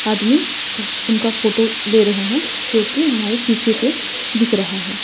आदमी उनका फोटो ले रहे हैं जोकि हमारे शीशे पर दिख रहा है।